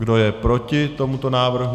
Kdo je proti tomuto návrhu?